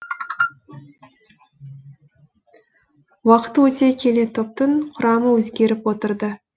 уақыт өте келе топтың құрамы өзгеріп отырды